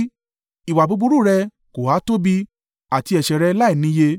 Ìwà búburú rẹ kò ha tóbi, àti ẹ̀ṣẹ̀ rẹ láìníye?